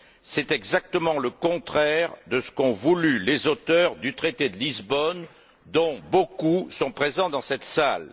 C'est exactement le contraire de ce qu'ont voulu les auteurs du traité de Lisbonne, dont beaucoup sont présents dans cette salle.